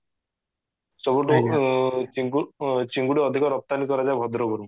ସବୁଠୁ ଚିଙ୍ଗୁଡି ଅଧିକ ରପ୍ତାନି କରାଯାଏ ଭଦ୍ରକ ରୁ